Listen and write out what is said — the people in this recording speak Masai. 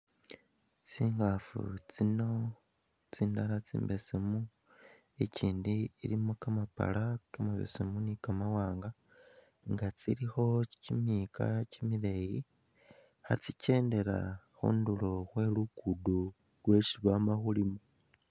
Tsingaafu tsino tsindala tsimbesemu, ikindi ilimo kamabala kamabesemu ni kamawaanga, tsilikho kimiyika kimileeyi, khatsikendela khu luguudo lwesi bama khulima.